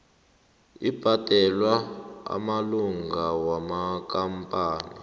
abhadelwa amalunga wamakampani